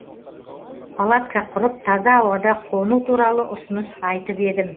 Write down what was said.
палатка құрып таза ауада қону туралы ұсыныс айтып едім